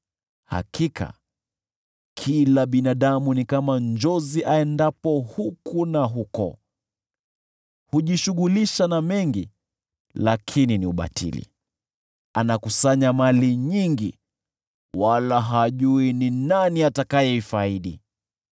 Hakika kila binadamu ni kama njozi aendapo huku na huko: hujishughulisha na mengi lakini ni ubatili; anakusanya mali nyingi, wala hajui ni nani atakayeifaidi.